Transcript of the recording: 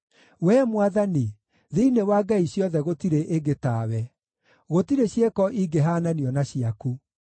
Wee Mwathani, thĩinĩ wa ngai ciothe gũtirĩ ĩngĩ tawe; gũtirĩ ciĩko ingĩhaananio na ciaku.